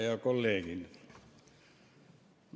Head kolleegid!